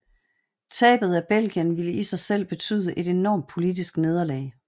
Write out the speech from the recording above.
Tabet af Belgien ville i sig selv betyde et enormt politisk nederlag